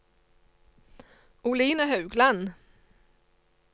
Oline Haugland